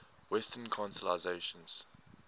western constellations